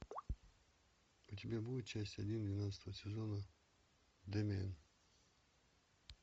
у тебя будет часть один двенадцатого сезона дэмиен